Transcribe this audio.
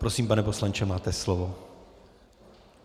Prosím, pane poslanče, máte slovo.